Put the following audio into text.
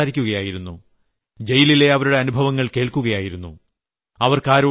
ഞാൻ അവരോട് സംസാരിക്കുകയായിരുന്നു ജയിലിലെ അവരുടെ അനുഭവങ്ങൾ കേൾക്കുകയായിരുന്നു